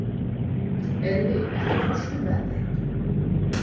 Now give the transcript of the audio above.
Eiðný, ekki fórstu með þeim?